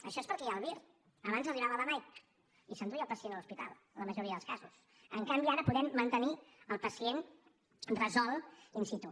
això és perquè hi ha el vir abans arribava la mike i s’enduia el pacient a l’hospital en la majoria dels casos en canvi ara podem mantenir el pacient resolt in situ